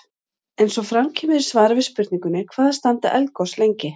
Eins og fram kemur í svari við spurningunni Hvað standa eldgos lengi?